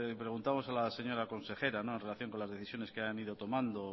preguntamos a la señora consejera en relación con las decisiones que hayan ido tomando